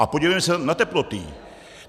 A podívejme se na teploty!